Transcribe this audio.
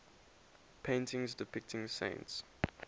paintings depicting saints